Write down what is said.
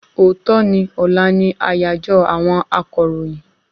Òòtọ́ ni ọlá ni àyàjọ́ àwọn akọ̀ròyìn